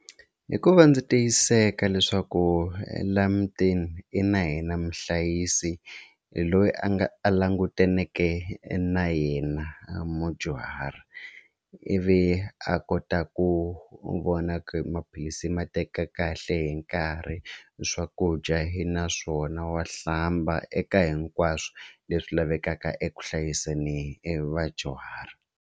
Hikuva ndzi tiyiseka leswaku laha mutini i na hina muhlayisi loyi a nga a langutaneke na yena mudyuhari ivi a kota ku vona ku maphilisi i ma teka kahle hi nkarhi swakudya i na swona wa hlamba eka hinkwaswo leswi lavekaka eku hlayiseni e vadyuhari.